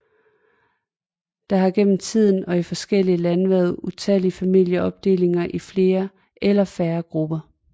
Der har gennem tiden og i forskellige lande været utallige familieopdelinger i flere eller færre grupper